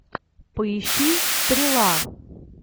поищи стрела